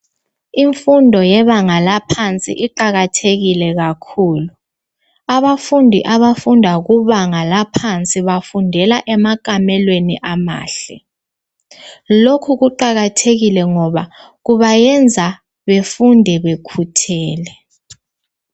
Imfundo yebanga laphansi iqakathekile kakhulu. Abafundi abafunda kubanga laphansi bafundela emakamelweni amahle. Lokhu kuqakathekile ngoba kubayenza befunde bekhuthele.